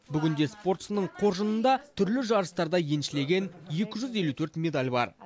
бүгінде спортшының қоржынында түрлі жарыстарда еншілеген екі жүз елу төрт медаль бар